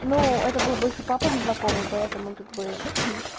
ну это был больше папы знакомый поэтому как бы хм